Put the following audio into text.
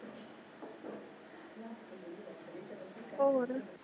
ਹੋਰ